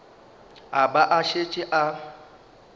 a ba a šetše a